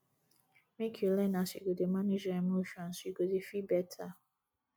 make you learn as you go dey manage your emotions you go dey feel beta